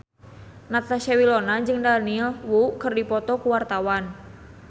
Natasha Wilona jeung Daniel Wu keur dipoto ku wartawan